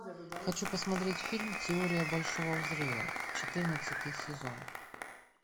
хочу посмотреть фильм теория большого взрыва четырнадцатый сезон